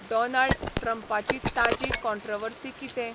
Donald ट्रंपाची ताजी controversy कितें